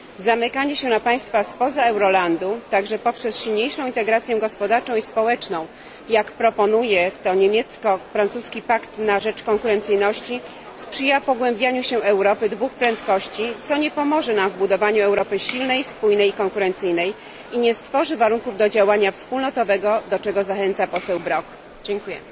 Zamykanie się przed państwami spoza eurolandu, także poprzez silniejszą integrację gospodarczą i społeczną, jak proponuje to niemiecko francuski pakt na rzecz konkurencyjności, sprzyja pogłębianiu się Europy dwóch prędkości, co nie pomoże nam w budowaniu Europy silnej, spójnej i konkurencyjnej i nie stworzy warunków do działania wspólnotowego, do czego zachęca poseł Brok. Dziękuję.